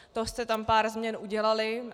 To jste tam pár změn udělali.